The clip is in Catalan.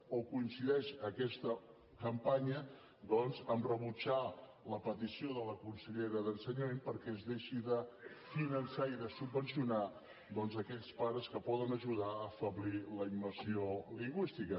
o coincideix aquesta campanya doncs a rebutjar la petició de la consellera d’ensenyament perquè es deixi de finançar i de subvencionar aquells pares que poden ajudar a afeblir la immersió lingüística